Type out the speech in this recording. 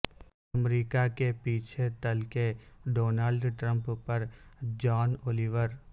امریکہ کے پیچھے تل کے ڈونلڈ ٹمپمپ پر جان اولیور